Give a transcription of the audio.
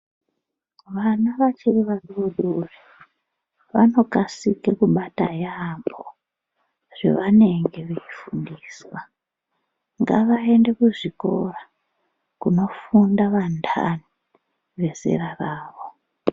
Vana vachiri vadodori vanokasike kubata yambo zvavanenge vei fundiswa ngavaende kuzvikora kunofunda vandani vezera ravo